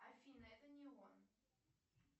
афина это не он